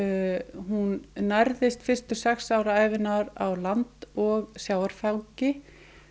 hún nærðist fyrstu sex ár ævinnar á land og sjávarfangi